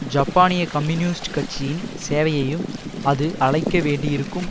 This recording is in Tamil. ஜப்பானிய கம்யூனிஸ்ட் கட்சியின் சேவையையும் அது அழைக்க வேண்டியிருக்கும்